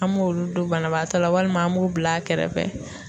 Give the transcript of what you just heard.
An m'olu don banabaatɔ la walima an b'u bil'a kɛrɛfɛ.